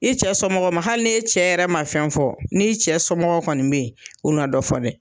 I cɛ somɔgɔw ma hali n'e cɛ yɛrɛ ma fɛn fɔ, n'i cɛ somɔgɔw kɔni bɛ yen. U na dɔ fɔ dɛ.